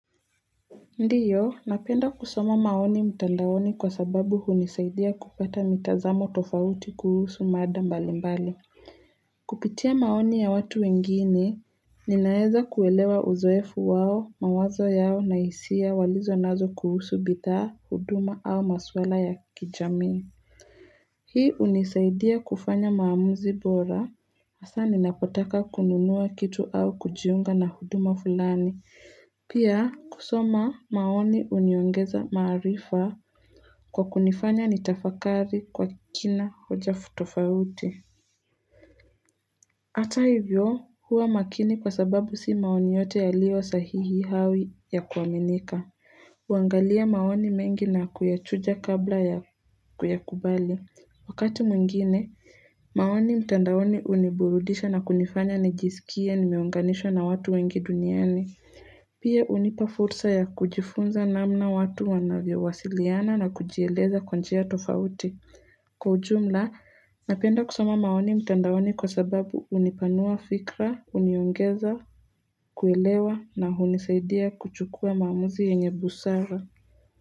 Ndiyo, napenda kusoma maoni mtandaoni kwa sababu hunisaidia kupata mitazamo tofauti kuhusu mada mbali mbali. Kupitia maoni ya watu wengine, ninaeza kuelewa uzoefu wao, mawazo yao na hisia walizonazo kuhusu bithaa, huduma au maswala ya kijami. Hii unisaidia kufanya maamuzi bora, hasaa ninapotaka kununua kitu au kujiunga na huduma fulani. Pia, kusoma maoni uniongeza maarifa kwa kunifanya nitafakari kwa kina hoja f futofauti. Ata hivyo, huwa makini kwa sababu si maoni yote yaliyo sahihi hao ya kuaminika. Uangalia maoni mengi na kuyachuja kabla ya kuyakubali. Wakati mwingine, maoni mtandaoni uniburudisha na kunifanya nijisikie nimeunganisha na watu wengi duniani. Pia unipa fursa ya kujifunza namna watu wanavyowasiliana na kujieleza kwa njia tofauti. Kwa ujumla, napenda kusoma maoni mtandaoni kwa sababu unipanua fikra, uniongeza kuelewa na hunisaidia kuchukua maamuzi yenye busara.